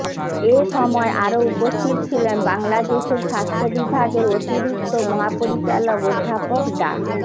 এ সময় আরও উপস্থিত ছিলেন বাংলাদেশের স্বাস্থ্য বিভাগের অতিরিক্ত মহাপরিচালক অধ্যাপক ডা